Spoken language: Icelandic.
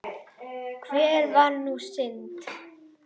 En hver var sú synd?